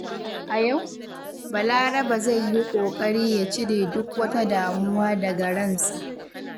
A yau, Balarabe zai yi ƙoƙari ya cire duk wata damuwa daga ransa.